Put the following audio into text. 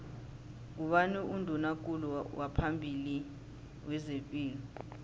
ngubani unduna kulu waphambili wezepilo